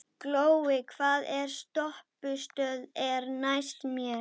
Það gat þá ekki verið svo slæmt.